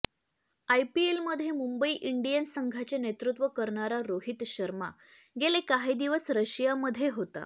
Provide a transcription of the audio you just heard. आयपीएमध्ये Mumbai Indians संघाचे नेतृत्व करणारा रोहित शर्मा गेले काही दिवस रशियामध्ये होता